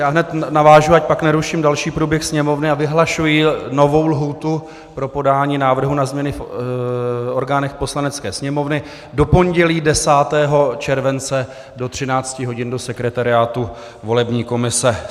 Já hned navážu, ať pak neruším další průběh Sněmovny, a vyhlašuji novou lhůtu pro podání návrhu na změny v orgánech Poslanecké sněmovny do pondělí 10. července do 13 hodin do sekretariátu volební komise.